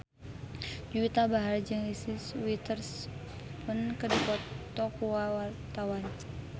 Juwita Bahar jeung Reese Witherspoon keur dipoto ku wartawan